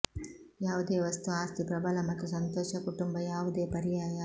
ಯಾವುದೇ ವಸ್ತು ಆಸ್ತಿ ಪ್ರಬಲ ಮತ್ತು ಸಂತೋಷ ಕುಟುಂಬ ಯಾವುದೇ ಪರ್ಯಾಯ